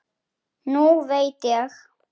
Nú veit ég.